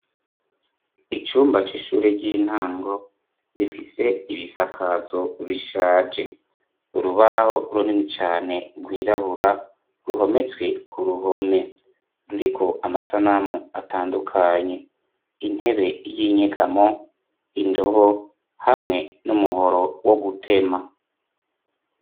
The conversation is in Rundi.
Icumba c'ishure ry'intango rifise ibisakazo bishaje urubaho runini cane rwirabura ruhometswe ku ruhome ruriko amasanamu atandukanye intebe y'inyegamo indobo hamwe n'umuhoro wo gutema.